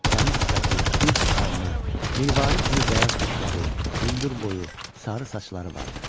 Təmiz sifəti, düz alnı, mirvari kimi bəyaz dişləri, hündür boyu, sarı saçları vardı.